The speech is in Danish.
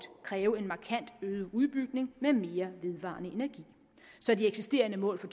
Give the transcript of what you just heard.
kræve en markant øget udbygning med mere vedvarende energi så de eksisterende mål for